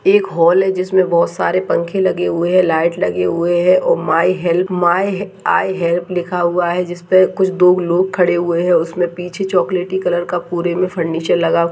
एक हॉल है जिसमें बहोत सारे पंखे लगे हुए हैं लाइट लगी हुई है और may help may I help लिखा हुआ है जिसपे कुछ दो लोग खड़े हुए हैं उसमे पीछे चॉकलेटी कलर का पूरे मे फर्निचर लगा --